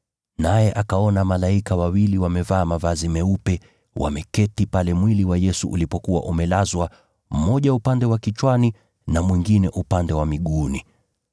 naye akaona malaika wawili wamevaa mavazi meupe, wameketi pale mwili wa Yesu ulipokuwa umelazwa, mmoja upande wa kichwani na mwingine upande wa miguuni.